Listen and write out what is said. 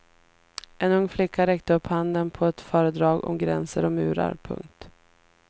En ung flicka räckte upp handen på ett föredrag om gränser och murar. punkt